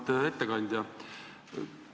Auväärt ettekandja!